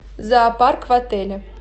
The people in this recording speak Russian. зоопарк в отеле